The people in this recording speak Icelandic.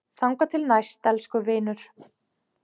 Þangað til næst, elsku vinur.